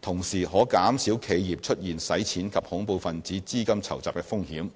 同時可減少企業出現洗錢及恐怖分子資金籌集的風險。